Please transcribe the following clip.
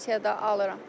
Pensiya da alıram.